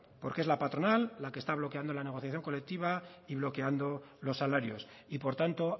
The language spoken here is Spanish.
porque es la patronal la que está bloqueando la negociación colectiva y bloqueando los salarios y por tanto